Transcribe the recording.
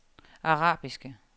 arabiske